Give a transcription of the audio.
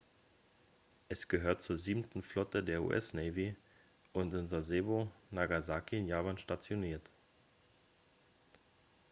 es gehört zur siebenten flotte der us navy und in sasebo nagasaki in japan stationiert